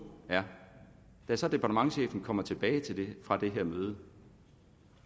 er da så departementschefen kom tilbage fra det her møde